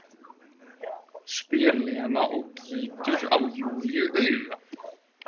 spyr Lena og gýtur á Júlíu auga.